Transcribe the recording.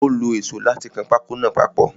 Ó lo èsó láti kan pákó náà papọ̀.